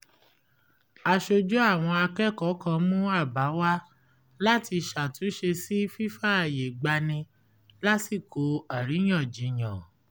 aṣojú àwọn akẹ́kọ̀ọ́ kan mú àbá wá láti ṣàtúnṣe sí fífààyègbani lásìkò àríyànjiyàn